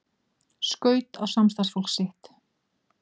Skaut á samstarfsfólk sitt